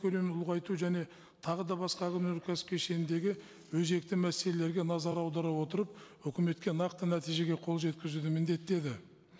көлемін ұлғайту және тағы да басқа өнеркәсіп кешеніндегі өзекті мәселелерге назар аудара отырып үкіметке нақты нәтижеге қол жеткізуді міндеттеді